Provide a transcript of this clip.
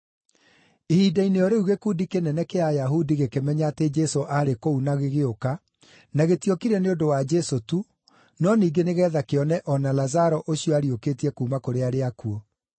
Ihinda-inĩ o rĩu gĩkundi kĩnene kĩa Ayahudi gĩkĩmenya atĩ Jesũ aarĩ kũu na gĩgĩũka, na gĩtiokire nĩ ũndũ wa Jesũ tu, no ningĩ nĩgeetha kĩone o na Lazaro ũcio aariũkĩtie kuuma kũrĩ arĩa akuũ.